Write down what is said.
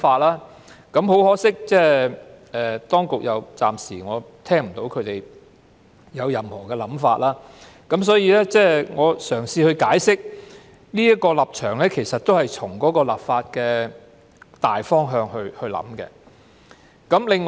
不過，很可惜，我暫時仍未聽到當局有任何想法，所以我才會嘗試解釋這是從立法的大方向來考慮。